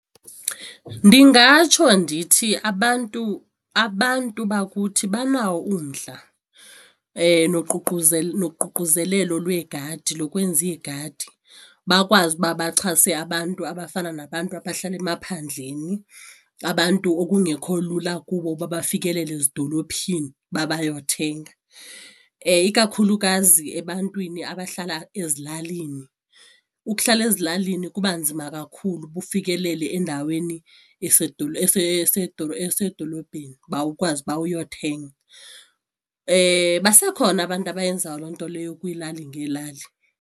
Ndingatsho ndithi abantu abantu bakuthi banawo umdla noququzelelo lwegadi lokwenza iigadi bakwazi uba baxhase abantu abafana nabantu abahlala emaphandleni, abantu okungekho lula kubo uba bafikelele ezidolophini uba bayothenga ikakhulukazi ebantwini abahlala ezilalini. Ukuhlala ezilalini kuba nzima kakhulu uba ufikelele endaweni esedolophini, uba ukwazi uba uyothenga. Basekhona abantu abayenzayo loo nto leyo kwiilali ngeelali.